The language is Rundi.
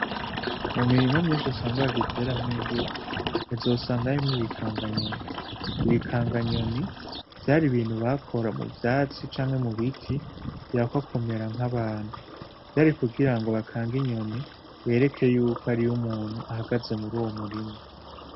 Mu mirima myinshi usanga bagiteramwo imbuto uzosanga harimwo ibikanganyoni. Ibikanganyoni vyar'ibintu bakora mu vyatsi canke mubiti bihakwa kumera nkabantu. vyarukugirango bakange inyoni bereke yuko hariyo umuntu ahagaze muruwo murima.